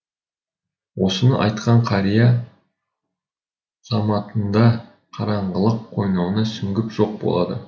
осыны айтқан қария заматында қараңғылық қойнауына сүңгіп жоқ болады